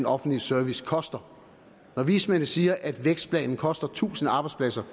offentlige service koster når vismændene siger at vækstplanen koster tusind arbejdspladser